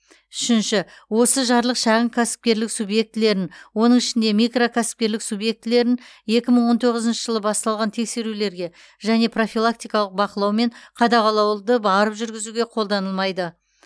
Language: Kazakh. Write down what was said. үшінші осы жарлық шағын кәсіпкерлік субъектілерін оның ішінде микрокәсіпкерлік субъектілерін екі мың он тоғызыншы жылы басталған тексерулерге және профилактикалық бақылау мен қадағалауды барып жүргізуге қолданылмайды